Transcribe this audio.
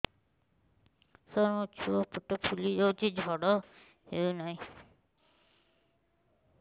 ସାର ମୋ ଛୁଆ ପେଟ ଫୁଲି ଯାଉଛି ଝାଡ଼ା ହେଉନାହିଁ